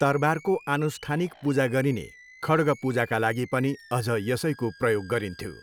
तरवारको आनुष्ठानिक पूजा गरिने खड्ग पूजाका लागि पनि अझ यसैको प्रयोग गरिन्थ्यो।